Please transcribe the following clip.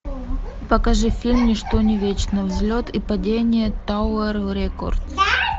покажи фильм ничто не вечно взлет и падение тауэр рекордс